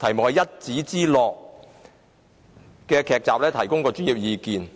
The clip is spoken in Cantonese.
集""一紙之諾"的單元提供專業意見。